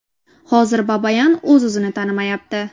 Hozir Babayan o‘zini-o‘zi tanimayapti.